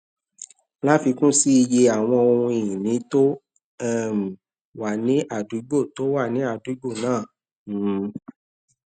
láfikún sí i iye àwọn ohun ìní tó um wà ní àdúgbò tó wà ní àdúgbò náà um